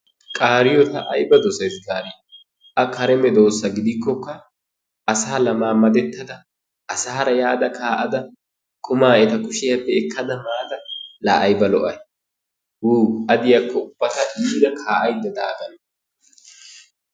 Qaariyoo ta ayba dosees gaadii! a kare meedosa gidikkoka asaara laamadetada asaara pe"ada kaa"ada qumaa eta kuushiyaappe ekkada maada la ayba lo"ay! Wo a diyaako ta iira ka"aydda da aggana.